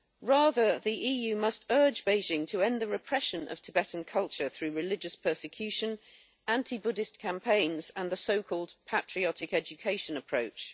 Rather, the EU must urge Beijing to end the repression of Tibetan culture through religious persecution, anti-Buddhist campaigns and the so called patriotic education approach.